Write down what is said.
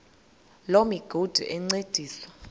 loo migudu encediswa